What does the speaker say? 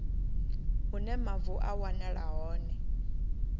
hune mavu a wanala hone